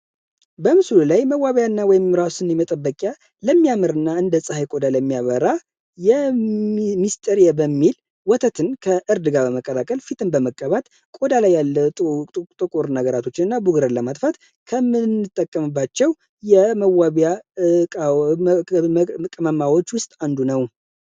በምስሉ ላይ መዋቢያና ወይም ራሱን የመጠበቂያ ለሚያምርና ሚስጥር በሚል ወተትን ከእርድ ጋር በመቀላቀል ፊትን በመቀባት ቆዳ ላይ ያለ ጡር ነገራቶችና ለማጥፋት ከምንጠቀምባቸው ውስጥ አንዱ ነው